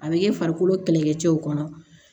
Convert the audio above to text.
A bɛ kɛ farikolo kɛlɛkɛcɛw kɔnɔ